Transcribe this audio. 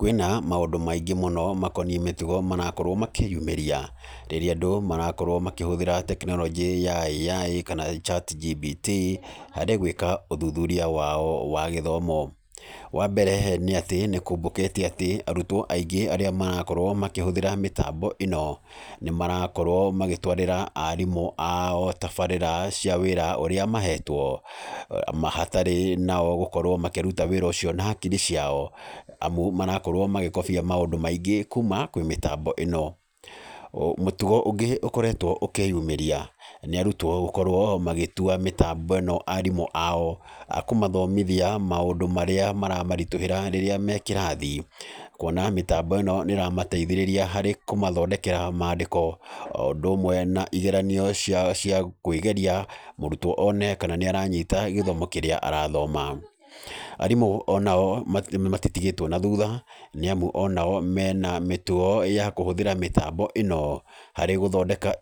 Kwĩna maũndũ maingĩ mũno makoniĩ mĩtugo marakorwo makĩyumĩria, rĩrĩa andũ marakorwo makĩhũthĩra tekinoronjĩ ya AI kana ChatGPT, harĩ gwĩka ũthuthuria wao wa gĩthomo. Wa mbere, nĩ atĩ nĩ kumbũkĩte atĩ, arutwo aingĩ arĩa marakorwo makĩhũthĩra mĩtambo ĩno, nĩ marakorwo magĩtwarĩra aarimũ ao tabarĩra cia wĩra ũrĩa mahetwo. Hatarĩ nao gũkorwo makĩruta wĩra ũcio na hakiri ciao, amu marakorwo magĩkobia maũndũ maingĩ kuuma kwĩ mĩtambo ĩno. Mũtugo ũngĩ ũkoretwo ũkĩyumĩria, nĩ arutwo gũkorwo magĩtua mĩtambo ĩno aarimũ ao, a kũmathomithia maũndũ marĩa maramaritũhĩra rĩrĩa me kĩrathi. Kuona mĩtambo nĩ ĩramateithĩrĩria harĩ kũmathondekera maandĩko o ũndũ ũmwe na igeranio cia cia kwĩgeria, mũrutwo one kana nĩ aranyita gĩthomo kĩrĩa arathoma. Aarimũ ona o matitigĩtwo na thutha, nĩ amu ona o mena mĩtugo ya kũhũthĩra mĩtambo ĩno, harĩ gũthondeka